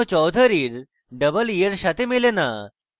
এটি এখনও choudhuree এর double e এর সাথে মেলে না